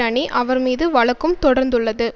அணி அவர் மீது வழக்கும் தொடர்ந்துள்ளது